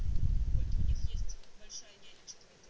это у них есть большая нянечка это